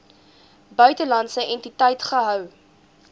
buitelandse entiteit gehou